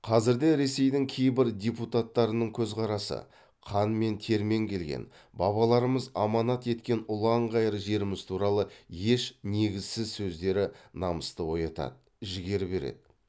қазір де ресейдің кейбір депутаттарының көзқарасы қан мен термен келген бабаларымыз аманат еткен ұлан ғайыр жеріміз туралы еш негізсіз сөздері намысты оятады жігер береді